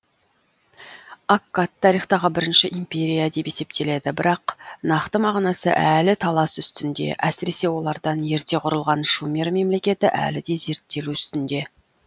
аккад тарихтағы бірінші империя деп есептеледі бірақ нақты мағынасы әлі талас үстінде әсіресе олардан ерте құрылған шумер мемлекеті әлі де зерттелу үстінде